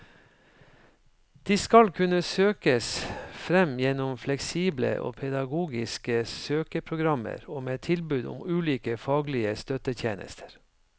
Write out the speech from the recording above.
De skal kunne søkes fram gjennom fleksible og pedagogiske søkeprogrammer og med tilbud om ulike faglige støttetjenester.